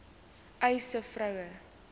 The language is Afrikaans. uys sê vroue